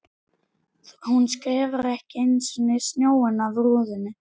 Hún skefur ekki einu sinni snjóinn af rúðunum!